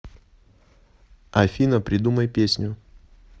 афина придумай песню